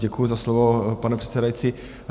Děkuji za slovo, pane předsedající.